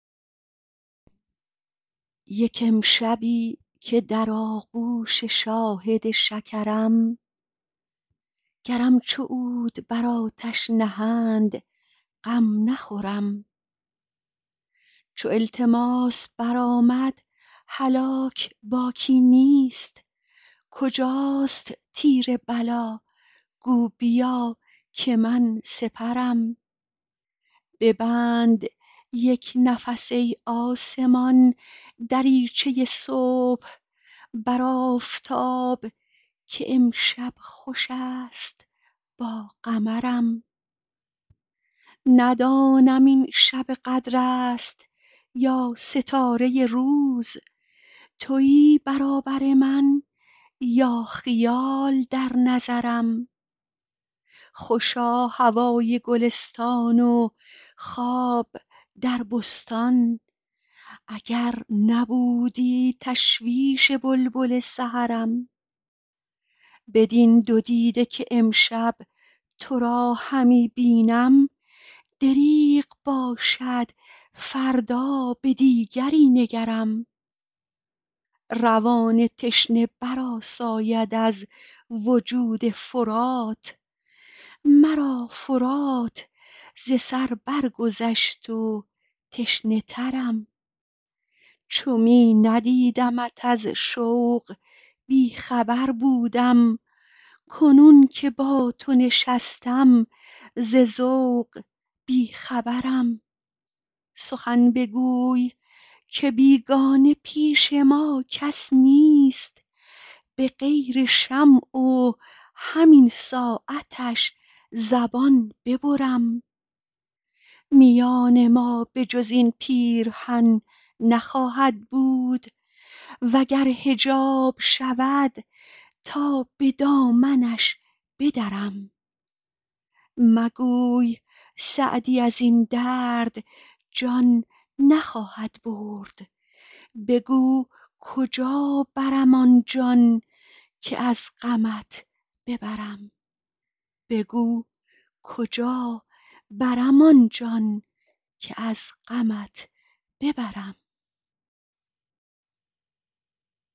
یک امشبی که در آغوش شاهد شکرم گرم چو عود بر آتش نهند غم نخورم چو التماس برآمد هلاک باکی نیست کجاست تیر بلا گو بیا که من سپرم ببند یک نفس ای آسمان دریچه صبح بر آفتاب که امشب خوش است با قمرم ندانم این شب قدر است یا ستاره روز تویی برابر من یا خیال در نظرم خوشا هوای گلستان و خواب در بستان اگر نبودی تشویش بلبل سحرم بدین دو دیده که امشب تو را همی بینم دریغ باشد فردا که دیگری نگرم روان تشنه برآساید از وجود فرات مرا فرات ز سر برگذشت و تشنه ترم چو می ندیدمت از شوق بی خبر بودم کنون که با تو نشستم ز ذوق بی خبرم سخن بگوی که بیگانه پیش ما کس نیست به غیر شمع و همین ساعتش زبان ببرم میان ما به جز این پیرهن نخواهد بود و گر حجاب شود تا به دامنش بدرم مگوی سعدی از این درد جان نخواهد برد بگو کجا برم آن جان که از غمت ببرم